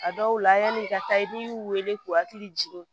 A dɔw la yani i ka taa n'i y'u wele k'u hakili jigin